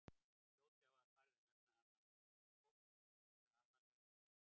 fljótlega var farið að nefna hana jónsbók eftir aðalhöfundi hennar